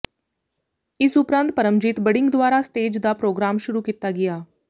ਇਸ ਉਪਰੰਤ ਪਰਮਜੀਤ ਬੜਿੰਗ ਦੁਆਰਾ ਸਟੇਜ ਦਾ ਪ੍ਰੋਗਰਾਮ ਸ਼ੁਰੂ ਕੀਤਾ ਗਿਆ